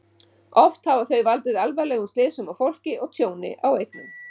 Oft hafa þau valdið alvarlegum slysum á fólki og tjóni á eignum.